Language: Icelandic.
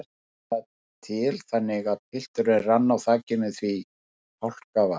Vildi það til þannig að pilturinn rann á þakinu því hálka var.